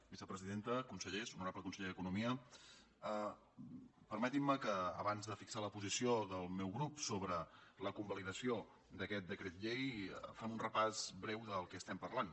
vicepresidenta consellers honorable conseller d’economia permetin me que abans de fixar la posició del meu grup sobre la convalidació d’aquest decret llei faci un repàs breu del que estem parlant